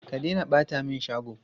Stop littering my shop!